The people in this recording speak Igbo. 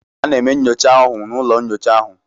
Ana eme nyocha ahụ n' ụlọ nnyocha ahụ.